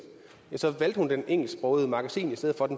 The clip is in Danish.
så ville hun vælge det engelsksprogede magasin i stedet for det